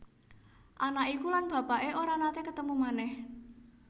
Anak iku lan bapaké ora naté ketemu manèh